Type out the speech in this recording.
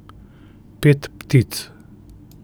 Pet ptic.